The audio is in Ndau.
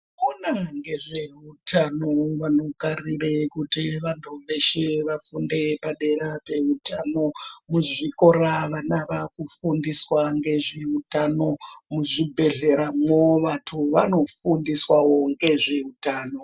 Kunezvehutano vanogarire kuti vagodeshera vafundi vepadera dera ngezvehutano. Muzvikora vana vaakufundiswa ngezvehutano ,muzvibhedleramo vantu vanofundiswa ngezvehutano.